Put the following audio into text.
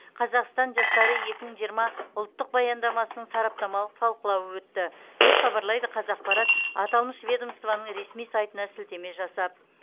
қазақстан жастары екі мың жиырма ұлттық баяндамасының сараптамалық талқылауы өтті деп хабарлайды қазақпарат аталмыш ведомствоның ресми сайтына сілтеме жасап